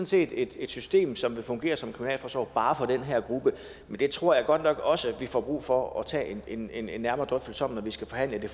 set et system som vil fungere som en kriminalforsorg bare for den her gruppe men det tror jeg godt nok også vi får brug for at tage en en nærmere drøftelse om når vi skal forhandle det